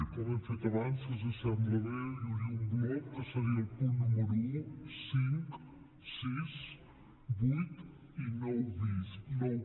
com hem fet abans si els sembla bé hi hauria un bloc que seria el punt número un cinc sis vuit i nou